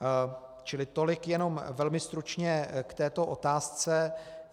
Čili tolik jenom velmi stručně k této otázce.